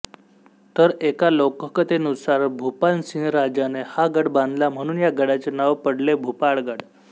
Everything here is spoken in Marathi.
तर एका लोककथेनुसार भूपालसिंह राजाने हा गड बांधला म्हणून या गडाचे नाव पडले भूपाळगड